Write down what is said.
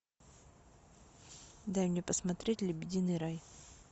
дай мне посмотреть лебединый рай